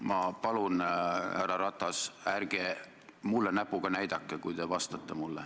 Ma palun, härra Ratas, ärge mulle näpuga näidake, kui te mulle vastate.